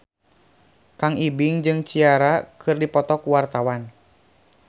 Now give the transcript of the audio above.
Kang Ibing jeung Ciara keur dipoto ku wartawan